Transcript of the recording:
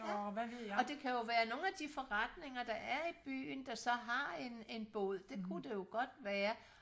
ja og det kan jo være nogle af de forretninger der er i byen der så har en en bod det kunne det jo godt være